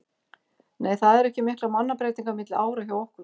Nei það eru ekki miklar mannabreytingar milli ára hjá okkur.